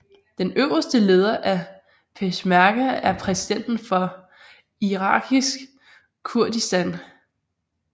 Den øverste leder af peshmerga er præsidenten for Irakisk Kurdistan